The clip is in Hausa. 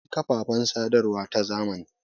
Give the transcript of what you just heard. Akwai kafafen sadarwa ta zamani.